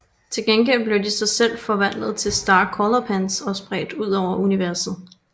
Til gengæld blev de så selv forvandlet til Star Color Pens og spredt udover universet